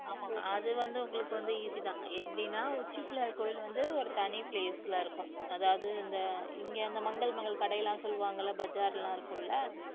ஆமா அது வந்து உங்களுக்கு வந்து easy தான் எப்படின்னா உச்சி பிள்ளையார் கோவில் வந்து ஒரு தனி place ல இருக்கும் அதாவது இந்த இங்க அந்த மங்கள் மங்கள் கடை எல்லாம் சொல்லுவாங்கல்ல பஜார் எல்லாம் இருக்கும் இல்ல